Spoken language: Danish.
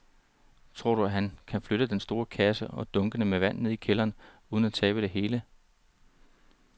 Tror du, at han kan flytte den store kasse og dunkene med vand ned i kælderen uden at tabe det hele?